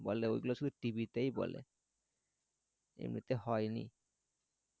বলে ওই গুলো শুধু টিভিতেই বলে এমনিতে হয়নি